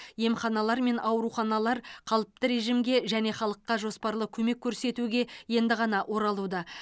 емханалар мен ауруханалар қалыпты режимге және халыққа жоспарлы көмек көрсетуге енді ғана оралуда